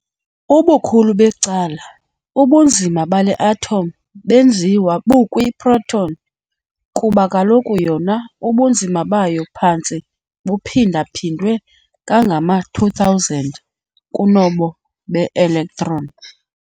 Ubukhulu becala ubunzima bale atom benziwa bukwi-proton, kuba kaloku yona ubunzima bayo phantse buphinda-phindwe kangangama-2000 kunobo be-electron.